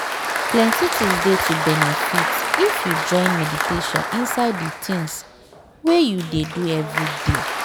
plenty things dey to benefit if you join meditation inside de tins wey you dey do everyday.